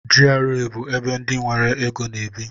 GRA bụ ebe ndị nwere égo na-ebi.